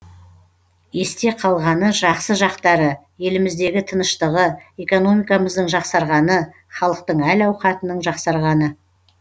есте қалғаны жақсы жақтары еліміздегі тыныштығы экономикамыздың жақсарғаны халықтың әл ауқатының жақсарғаны